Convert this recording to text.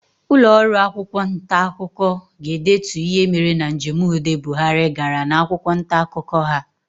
Ụlọọrụ akwụkwọ ntaakụkọ ga-edetu ihe mere na njem udo Buhari gara n'akwụkwọ ntaakụkọ ha.